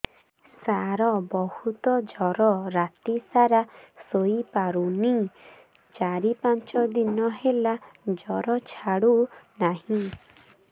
ସାର ବହୁତ ଜର ରାତି ସାରା ଶୋଇପାରୁନି ଚାରି ପାଞ୍ଚ ଦିନ ହେଲା ଜର ଛାଡ଼ୁ ନାହିଁ